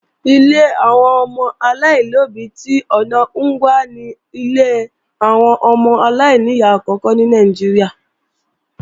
Ilé àwọn ọmọ aláìlóbí tí ọ̀na Ngwa ni ilé àwọn ọmọ aláìníyá àkókò ní Nàìjíríà